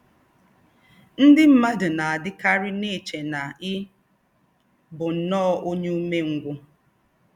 Ndí́ m̀madù nà-àdí́kárí èché nà ì̀ bù nnọ́ọ́ ònyè ùmèngwù